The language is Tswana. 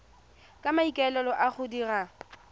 ka maikaelelo a go dira